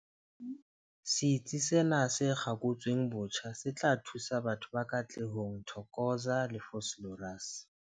Setsi sena se kgakotsweng botjha se tla thusa batho ba Katlehong, Thokoza le Vosloorus.